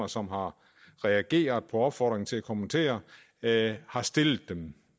som har reageret på opfordringen til at kommentere det har stillet dem